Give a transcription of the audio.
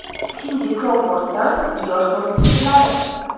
Sindi Krouforddan yosh ko‘rinish sirlari.